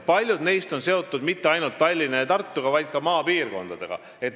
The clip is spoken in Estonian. Paljud neist on seotud mitte ainult Tallinna ja Tartuga, vaid ka maapiirkondadega.